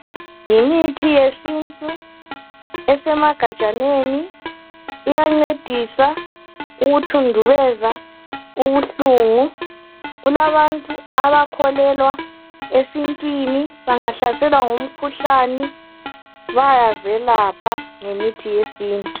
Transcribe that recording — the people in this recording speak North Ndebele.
yimithi yesintu esemagajaneni iyancedisa ukuthundubeza ubuhlungu kulabantu bakholelwa esintwini bangahlaselwa ngumkhuhlane bayazelapha ngemithi yesintu